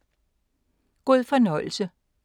God fornøjelse!